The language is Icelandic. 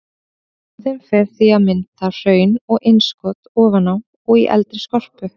Bráðin fer því í að mynda hraun og innskot ofan á og í eldri skorpu.